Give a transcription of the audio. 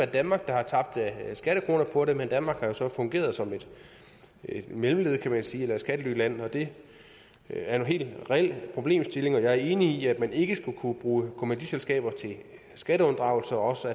danmark der har tabt skattekroner på det men danmark har jo så fungeret som et mellemled kan man sige eller et skattelyland og det er en helt reel problemstilling og jeg er enig i at man ikke skal kunne bruge kommanditselskaber til skatteunddragelser og også